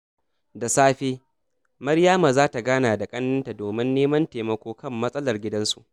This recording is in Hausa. Da safe, Maryama za ta gana da ƙanenta domin neman taimako kan matsalar gidansu.